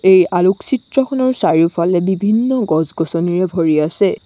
এই আলোকচিত্ৰখনৰ চাৰিওফালে বিভিন্ন গছ-গছনিৰে ভৰি আছে।